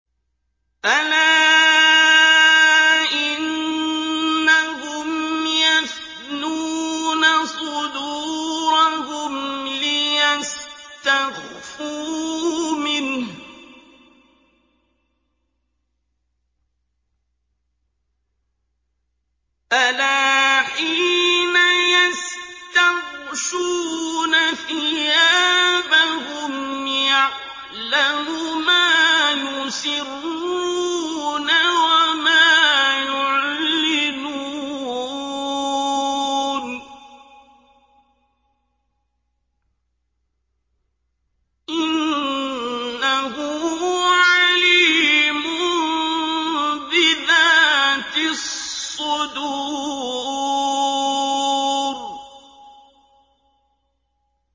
أَلَا إِنَّهُمْ يَثْنُونَ صُدُورَهُمْ لِيَسْتَخْفُوا مِنْهُ ۚ أَلَا حِينَ يَسْتَغْشُونَ ثِيَابَهُمْ يَعْلَمُ مَا يُسِرُّونَ وَمَا يُعْلِنُونَ ۚ إِنَّهُ عَلِيمٌ بِذَاتِ الصُّدُورِ